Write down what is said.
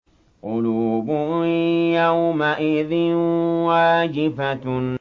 قُلُوبٌ يَوْمَئِذٍ وَاجِفَةٌ